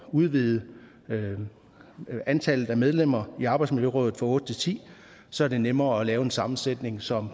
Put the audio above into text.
udvide antallet af medlemmer i fiskeriets arbejdsmiljøråd fra otte til tiende så er det nemmere at lave en sammensætning som